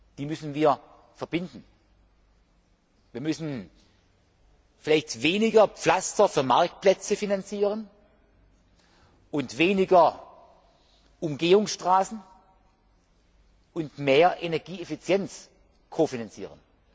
Die müssen wir verbinden. Wir müssen vielleicht weniger Pflaster für Marktplätze finanzieren und weniger Umgehungsstraßen, dafür aber mehr Energieeffizienz kofinanzieren.